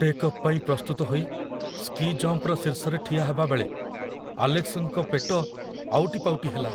Take off ପାଇଁ ପ୍ରସ୍ତୁତ ହୋଇ ସ୍କି ଜମ୍ପର ଶୀର୍ଷରେ ଠିଆ ହେବାବେଳେ ଆଲେକ୍ସଙ୍କ ପେଟ ଆଉଟିପାଉଟି ହେଲା।